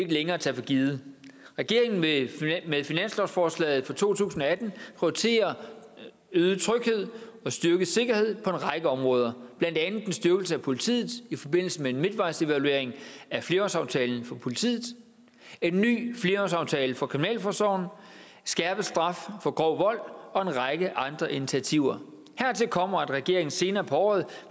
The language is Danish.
længere tage for givet regeringen vil med finanslovsforslaget for to tusind og atten prioritere øget tryghed og styrket sikkerhed på en række områder blandt andet en styrkelse af politiet i forbindelse med en midtvejsevaluering af flerårsaftalen for politiet en ny flerårsaftale for kriminalforsorgen skærpet straf for grov vold og en række andre initiativer hertil kommer at regeringen senere på året